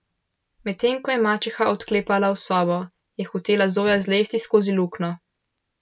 Medtem ko je mačeha odklepala sobo, je hotela Zoja zlesti skozi luknjo.